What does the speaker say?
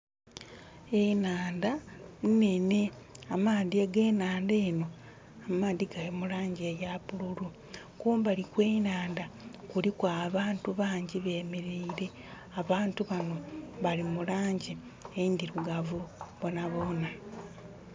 Enaandha inhenhe. Amaadhi age naandha eno amaadhi gali mulangi eya bululu. Kumbali kwe naandha kuliku abantu bangi bemereire. Abantu bano bali mulangi endirugavu boona boona